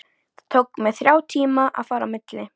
Það tók mig þrjá tíma að fara á milli.